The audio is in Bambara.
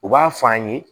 U b'a f'an ye